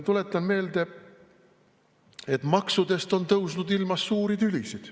Tuletan meelde, et maksudest on tõusnud ilmas suuri tülisid.